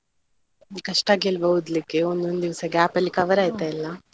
ಕಷ್ಟ ಆಗಿಲ್ವಾ ಓದಲಿಕ್ಕೆ. ಒಂದ್ ಒಂದ್ ದಿವಸ gap ಅಲ್ಲಿ cover ಆಯ್ತಾ ಎಲ್ಲಾ?